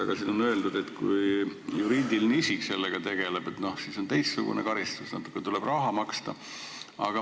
Aga siin on ka öeldud, et kui juriidiline isik sellega tegeleb, siis on teistsugune karistus, tuleb natuke raha maksta.